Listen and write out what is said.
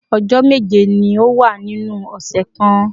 Ọjọ́ méje ni ó wà nínú ọ̀sẹ̀ kan